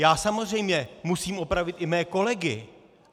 Já samozřejmě musím opravit i mé kolegy.